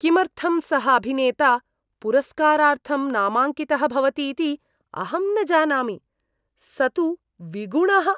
किमर्थं सः अभिनेता पुरस्कारार्थं नामाङ्कितः भवति इति अहं न जानामि। स तु विगुणः।